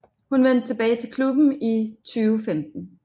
Hun vendte tilbage til klubben i 2015